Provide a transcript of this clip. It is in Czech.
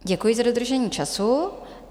Děkuji za dodržení času.